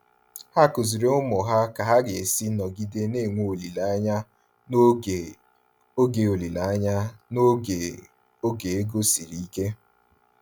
Ha kụziiri ụmụ ha ka ha ga-esi nọgide na-enwe olileanya n'oge oge olileanya n'oge oge ego siri ike.